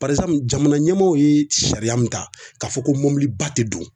jamana ɲɛmɔgɔw ye sariya mun ta k'a fɔ ko mɔbiliba tɛ don